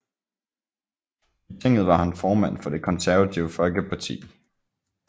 I tinget var han formand for Det Konservative Folkeparti